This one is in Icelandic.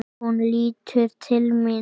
Hún lítur til mín.